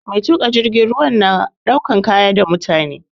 Mai tuƙa jirgin ruwa na ɗaukan kaya da mutane